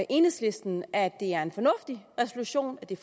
enhedslisten at det er en fornuftig resolution at det